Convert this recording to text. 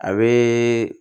A be